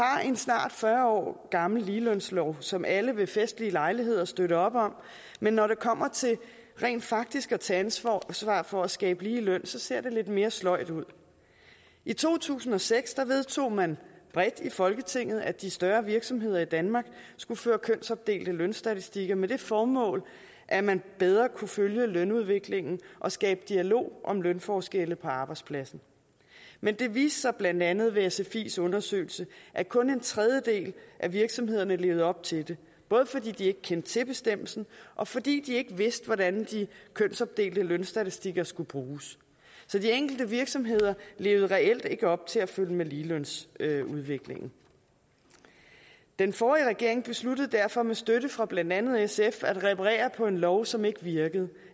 en snart fyrre år gammel ligelønslov som alle ved festlige lejligheder støtter op om men når det kommer til rent faktisk at tage ansvar for at skabe lige løn ser det lidt mere sløjt ud i to tusind og seks vedtog man bredt i folketinget at de større virksomheder i danmark skulle føre kønsopdelte lønstatistikker med det formål at man bedre kunne følge lønudviklingen og skabe dialog om lønforskelle på arbejdspladsen men det viste sig blandt andet ved sfis undersøgelse at kun en tredjedel af virksomhederne levede op til det både fordi de ikke kendte til bestemmelsen og fordi de ikke vidste hvordan de kønsopdelte lønstatistikker skulle bruges så de enkelte virksomheder levede reelt ikke op til at følge med ligelønsudviklingen den forrige regering besluttede derfor med støtte fra blandt andet sf at reparere på en lov som ikke virkede